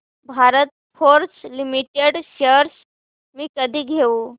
Bharat Forge Limited shares मी कधी घेऊ